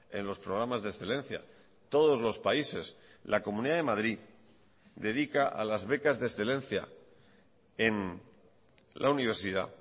en los programas de excelencia todos los países la comunidad de madrid dedica a las becas de excelencia en la universidad